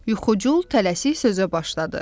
Yuxucul tələsik sözə başladı.